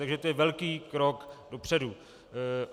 Takže to je velký krok dopředu.